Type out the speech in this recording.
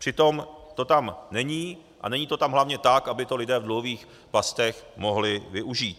Přitom to tam není, a není to tam hlavně tak, aby to lidé v dluhových pastech mohli využít.